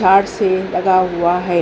हात से लगा हुआ है।